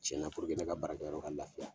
Cɛ ɲa ne ka baarakɛyɔrɔ ka lafiya.